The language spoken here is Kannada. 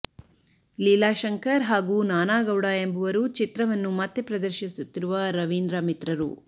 ಲೀಲಾ ಶಂಕರ್ ಹಾಗೂ ನಾನಾಗೌಡ ಎಂಬವರು ಚಿತ್ರವನ್ನು ಮತ್ತೆ ಪ್ರದರ್ಶಿಸುತ್ತಿರುವ ರವೀಂದ್ರ ಮಿತ್ರರು